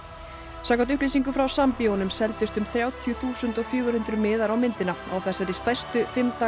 samkvæmt upplýsingum frá Sambíóunum seldust um þrjátíu þúsund fjögur hundruð miðar á myndina á þessari stærstu fimm daga